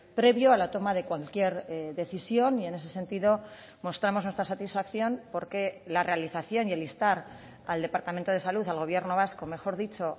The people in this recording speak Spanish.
previo a la toma de cualquier decisión y en ese sentido mostramos nuestra satisfacción porque la realización y el instar al departamento de salud al gobierno vasco mejor dicho